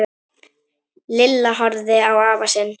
Lilla horfði á afa sinn.